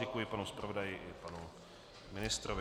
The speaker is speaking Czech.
Děkuji panu zpravodaji i panu ministrovi.